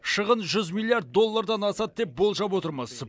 шығын жүз миллиард доллардан асады деп болжап отырмыз